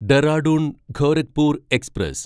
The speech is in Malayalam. ഡെറാഡൂൺ ഗോരഖ്പൂർ എക്സ്പ്രസ്